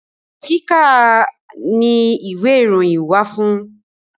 Kíkà ni ìwé ìròyìn wà fún.